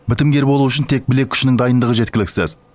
бітімгер болу үшін тек білек күшінің дайындығы жеткіліксіз